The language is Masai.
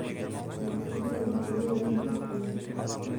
eibungaki Nyombei aapik jila